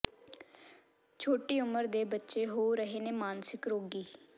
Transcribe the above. ਛੋਟੀ ਉਮਰ ਦੇ ਬੱਚੇ ਹੋ ਰਹੇ ਨੇ ਮਾਨਸਿਕ ਰੋਗੀ